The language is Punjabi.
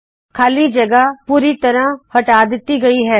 ਖਾਲੀ ਜਗਹ ਪੂਰੀ ਤਰਹ ਹਟਾ ਦਿਤੀ ਗਈ ਹੈ